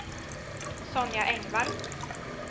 Sonja Engvall